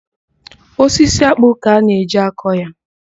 Osisi ákpụ́ ka a na-eji akọ ya.